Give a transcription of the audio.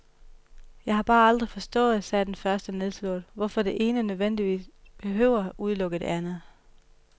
Jeg har bare aldrig forstået, sagde den første nedslået, hvorfor det ene nødvendigvis behøver at udelukke det andet.